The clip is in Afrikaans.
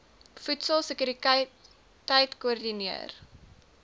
voedsel sekuriteit koördineer